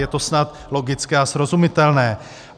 Je to snad logické a srozumitelné.